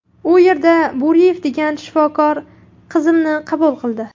U yerda Bo‘riyev degan shifokor qizimni qabul qildi.